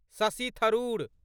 Shashi Tharoor